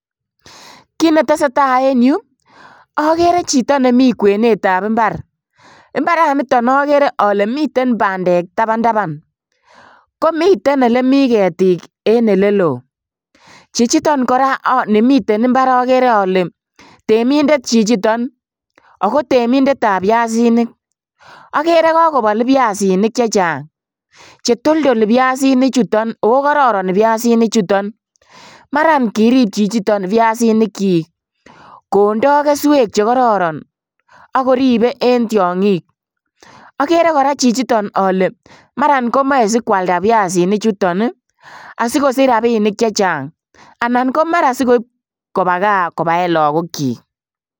Kit netese taa en yu okere chito nemi kwenetab imbar, imbaraniton okere ole miten bandek tabantaban komiten elemi ketik en elelo, chichiton koraa nimiten imbar, okere temindet chichiton ako temindetab biasinik okere kokobol biasinik chechang chetoldol biasinichuton oo kororon biasinichuton maran kirip chichiton biasinikchik kondoo keswek chekororon ak koribe en tiongik, okere koraa chichiton ole maran moche sikwalda biasinichuton asikosich rabinik chechang anan komara sikoib koba kaa kobaen lagokyik.